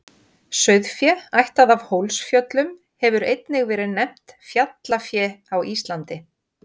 Sauðfé ættað af Hólsfjöllum hefur einnig verið nefnt fjallafé á Íslandi.